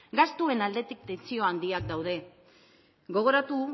gastuen aldetik tentsio handiak daude gogoratu